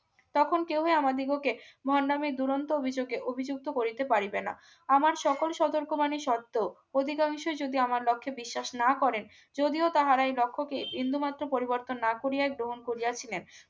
তখন কেউই আমাদিগকে ভন্ডামীর দুরন্ত অভিযোগে অভিযুক্ত করিতে পারিবে না আমার সকল সতর্ক বাণী সত্বেও অধিকাংশই যদি আমার লক্ষ্যে বিশ্বাস না করে যদিও তাহারা এই লক্ষ্যকে বিন্দুমাত্র পরিবর্তন না করিয়া গ্রহণ করিয়াছিলেন